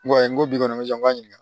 N ko n ko bi kɔni n bɛ se n ka ɲininka